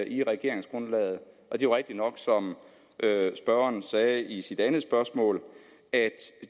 i regeringsgrundlaget det er rigtigt nok som spørgeren sagde i sit andet spørgsmål at